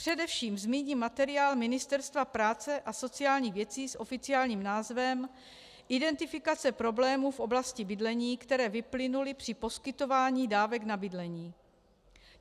Především zmíním materiál Ministerstva práce a sociálních věcí s oficiálním názvem Identifikace problémů v oblasti bydlení, které vyplynuly při poskytování dávek na bydlení.